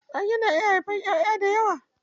Mage na iya haifan ƴaʼƴa dayawa.